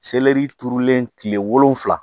Seleri turulen kile wolonwula